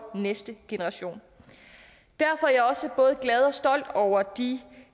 næste generation derfor er jeg også både glad og stolt over de